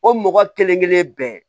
O mɔgɔ kelen kelen bɛɛ